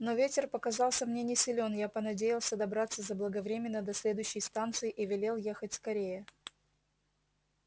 но ветер показался мне не силён я понадеялся добраться заблаговременно до следующей станции и велел ехать скорее